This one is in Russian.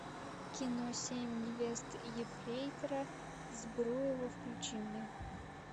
кино семь невест ефрейтора збруева включи мне